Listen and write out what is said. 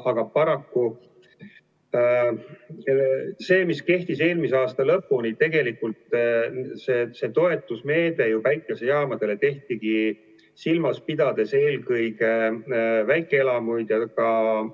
Aga paraku, see päikesejaamade toetusmeede, mis kehtis eelmise aasta lõpuni, tegelikult tehtigi ju, pidades silmas eelkõige väikeelamuid ja ka